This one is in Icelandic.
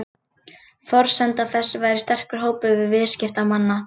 Forsenda þess væri sterkur hópur viðskiptamanna